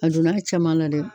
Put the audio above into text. A donn'a caman na dɛ.